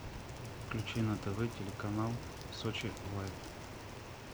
включи на тв телеканал сочи лайф